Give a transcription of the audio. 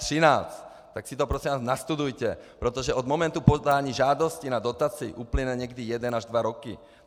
Tak si to, prosím vás, nastudujte, protože od momentu podání žádosti na dotaci uplyne někdy jeden až dva roky.